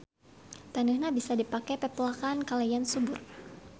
Taneuhna bisa dipake pepelakan kalayan subur.